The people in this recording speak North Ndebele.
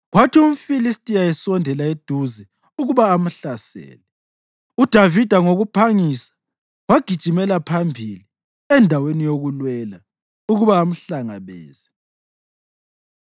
Kwathi umFilistiya esondela eduze ukuba amhlasele, uDavida ngokuphangisa wagijimela phambili endaweni yokulwela ukuba amhlangabeze.